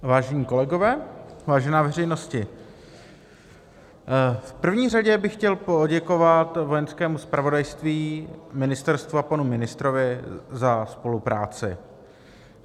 Vážení kolegové, vážená veřejnosti, v první řadě bych chtěl poděkovat Vojenskému zpravodajství, ministerstvu a panu ministrovi za spolupráci.